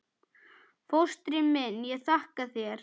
Fóstri minn, ég þakka þér.